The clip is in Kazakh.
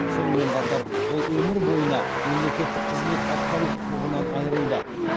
сонымен қатар ол өмір бойына мемлекеттік қызмет атқару құқығынан айырылды